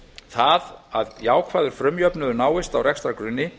það að jákvæður frumjöfnuður náist á rekstrargrunni